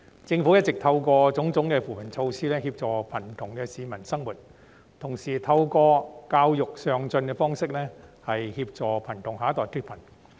政府一直透過種種扶貧措施協助貧窮的市民生活，同時透過教育上進的方式協助貧窮下一代脫貧。